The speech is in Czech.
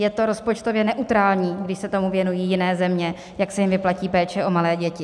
Je to rozpočtově neutrální, když se tomu věnují jiné země, jak se jim vyplatí péče o malé děti.